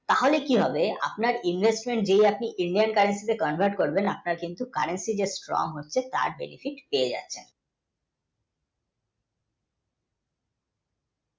তাহলে কী হবে আপনার investment যদি আপনি Indian currency তে convert করলে আপনার currency, strong হচ্ছে